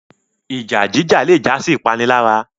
Ìjà jíjà le jásí ipanilara